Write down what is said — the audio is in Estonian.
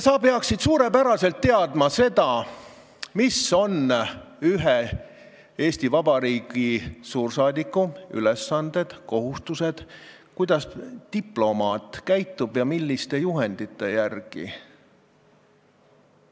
Sina peaksid suurepäraselt teadma, mis on Eesti Vabariigi suursaadiku ülesanded ja kohustused, kuidas diplomaat käitub ja milliste juhendite järgi.